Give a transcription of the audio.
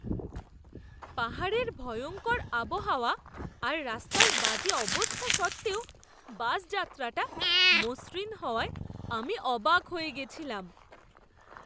পাহাড়ের ভয়ঙ্কর আবহাওয়া আর রাস্তার বাজে অবস্থা সত্ত্বেও বাসযাত্রাটা মসৃণ হওয়ায় আমি অবাক হয়ে গেছিলাম।